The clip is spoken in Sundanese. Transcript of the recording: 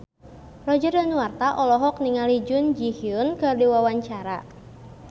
Roger Danuarta olohok ningali Jun Ji Hyun keur diwawancara